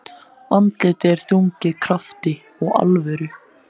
Andlitið er þrungið krafti og alvöru.